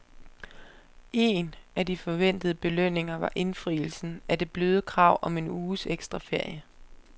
Én af de forventede belønninger var indfrielsen af det bløde krav om en uges ekstra ferie.